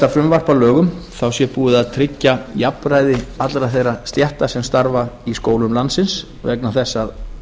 frumvarp að lögum sé búið að tryggja jafnræði allra þeirra stétta sem starfa í skólum landsins vegna þess að